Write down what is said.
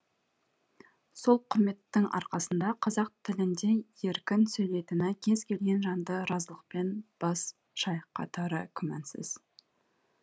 сол құрметтің арқасында қазақ тілінде еркін сөйлейтіні кез келген жанды разылықпен бас шайқатары күмәнсіз